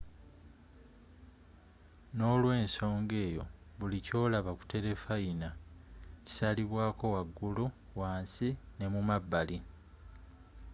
n'olwensoga eyo buli kyolaba ku telefayina kisalibwako wagulu wansi n'emumabbali